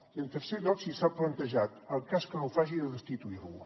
i en tercer lloc si s’ha plantejat en cas que no ho faci de destituir lo